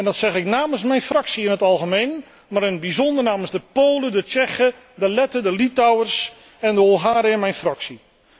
En dat zeg ik namens mijn fractie in het algemeen, maar in het bijzonder namens de Polen, de Tsjechen, de Letten, de Litouwers en de Hongaren in mijn fractie.